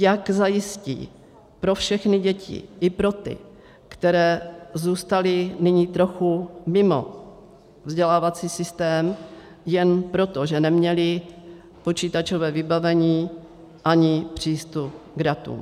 Jak zajistí pro všechny děti, i pro ty, které zůstaly nyní trochu mimo vzdělávací systém jen proto, že neměly počítačové vybavení ani přístup k datům.